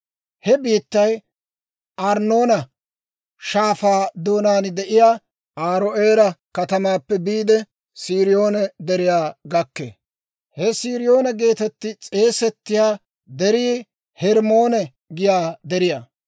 He biittay Arnnoona Shaafaa doonaan de'iyaa Aaro'eera katamaappe biide, Siriyoone Deriyaa gakkee; he Siriyoone geetetti s'eesettiyaa derii Hermmoone giyaa deriyaa.